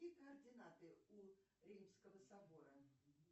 какие координаты у римского собора